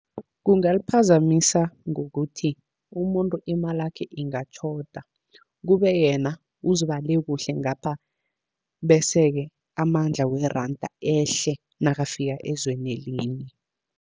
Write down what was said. Kungaliphazamisa ngokuthi umuntu imalakhe ingatjhoda, kube yena uzibale kuhle ngapha, bese-ke amandla weranda ehle nakafika ezweni elinye.